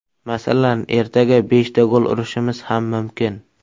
Masalan, ertaga beshta gol urishimiz ham mumkin.